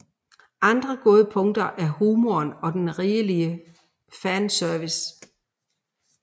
Andre gode punkter er humoren og den rigelige fanservice